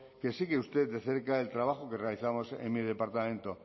que sigue usted de cerca el trabajo que realizamos en mi departamento